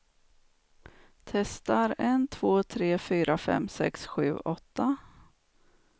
Testar en två tre fyra fem sex sju åtta.